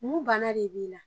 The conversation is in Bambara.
Mun banna de b'i la